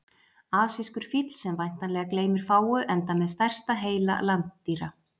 asískur fíll sem væntanlega gleymir fáu enda með stærsta heila landdýra